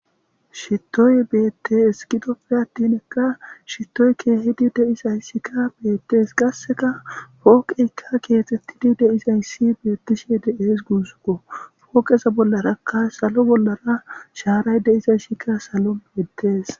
shittoy beettees kidope atinikka shitoy kkehidi de'isayssika beettees qasseka pooqeyka keexettidi deisayssi beettishi de7ees guuzukko pooqesa bollarakka salo bollara shaaray de'isaysika salo beettees